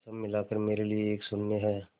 सब मिलाकर मेरे लिए एक शून्य है